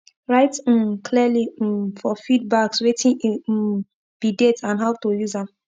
write um clearly um for feed bagswetin e um be date and how to use am